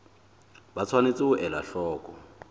ba tshwanetse ho ela hloko